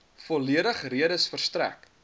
volledige redes verstrek